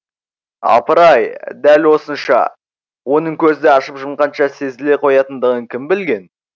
апыр ай дәл осынша оның көзді ашып жұмғанша сезіле қоятындығын кім білген